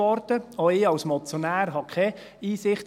Auch ich als Motionär hatte keine Einsicht.